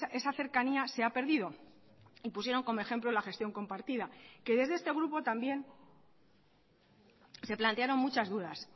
esa cercanía se ha perdido y pusieron como ejemplo la gestión compartida que desde este grupo también se plantearon muchas dudas